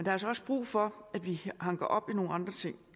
er altså også brug for at vi hanker op i nogle andre ting